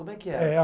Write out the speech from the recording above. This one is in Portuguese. Como é que era?